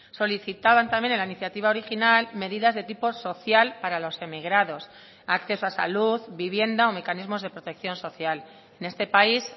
solicitaban también en la iniciativa original medidas de tipo social para los emigrados acceso a salud vivienda o mecanismos de protección social en este país